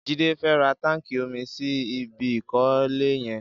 Jide fè rà tànkí ómí sí ibi ikọ̀lé yẹn